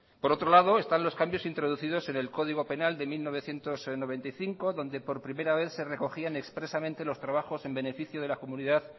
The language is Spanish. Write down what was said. por otro lado están los cambios introducidos en el código penal de mil novecientos noventa y cinco donde por primera vez se recogían expresamente los trabajos en beneficio de la comunidad